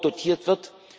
EUR dotiert wird.